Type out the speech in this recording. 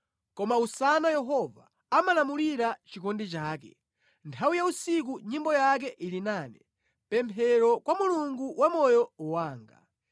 Koma usana Yehova amalamulira chikondi chake, nthawi ya usiku nyimbo yake ili nane; pemphero kwa Mulungu wa moyo wanga.